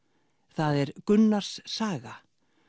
það er Gunnars saga